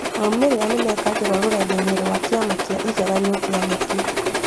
Maumĩrĩra nĩmekagĩrwo rũrenda-inĩ rwa kĩama kĩa igeranio kĩa KNEC